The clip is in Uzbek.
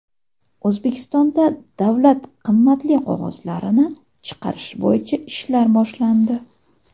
O‘zbekistonda davlat qimmatli qog‘ozlarini chiqarish bo‘yicha ishlar boshlandi.